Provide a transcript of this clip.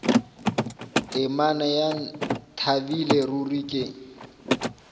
temana ya ntlabile ruri ke